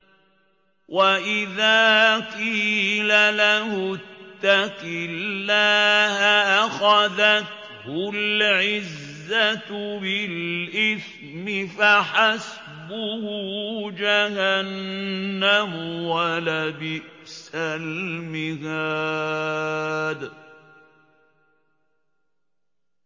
وَإِذَا قِيلَ لَهُ اتَّقِ اللَّهَ أَخَذَتْهُ الْعِزَّةُ بِالْإِثْمِ ۚ فَحَسْبُهُ جَهَنَّمُ ۚ وَلَبِئْسَ الْمِهَادُ